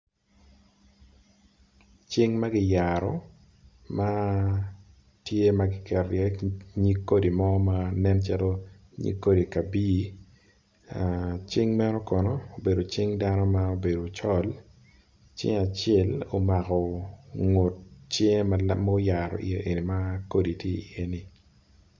Cing magiyaro matye maki keto i ye nyig kodi mo ma nen calo nyig kodi kabi cing meno kono obedo cing dano ma obedo ocol cing acel omako ngut cing ma oyaro iye ma kodi tye iye ni.